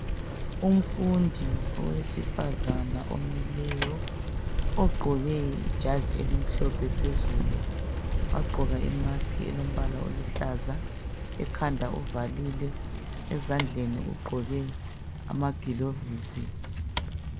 Umfundi owesifazana omileyo ogqoke ijazi elimhlophe phezulu wagqoka imask elombala oluhlaza, ekhanda uvalile ezandleni ugqoke amagiovisi.